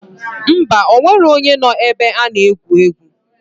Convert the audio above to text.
Ḿbà, onwero onye noo na ebe ana egwu egwu.